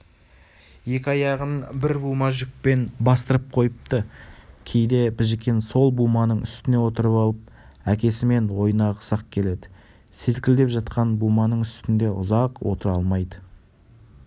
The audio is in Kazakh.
екі аяғын бір бума жүкпен бастырып қойыпты кейде біжікен сол буманың үстіне отырып алып әкесімен ойнағысы келеді селкілдеп жатқан буманың үстінде ұзақ отыра алмайды